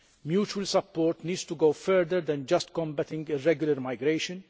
Mutual support needs to go further than just combating irregular migration.